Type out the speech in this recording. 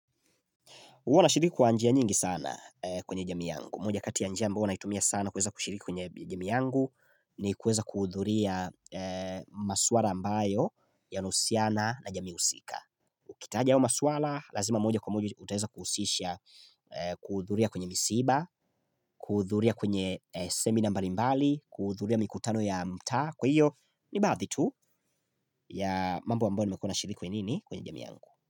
Uwana shiriku kwa njia nyingi sana kwenye jami yangu. Moja kati ya njia mbo naitumia sana kuweza kushiriku kwenye jami yangu ni kweza kuudhuria maswara ambayo yanausiana na jami usika. Kitaja yao masuala, lazima moja kwa moja utaeza kusisha kuudhuria kwenye misiba, kuudhuria kwenye semina mbali mbali, kuudhuria mikutano ya mtaa. Kwa hio, ni baadhi tu ya mambo ambayo nimekuana shiriku kwenye nini kwenye jami yangu.